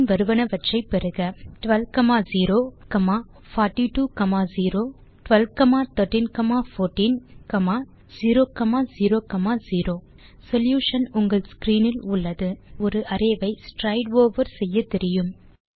பின் வருவனவற்றை பெறுக 12 042 0 12 13 14 0 0 0 சொல்யூஷன் உங்கள் ஸ்க்ரீன் இல் உள்ளது இப்போது நமக்கு ஒரு அரே வை ஸ்ட்ரைடு ஓவர் செய்யத்தெரியும்